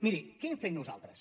miri què hem fet nosaltres